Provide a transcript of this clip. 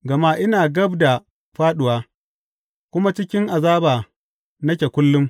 Gama ina gab da fāɗuwa, kuma cikin azaba nake kullum.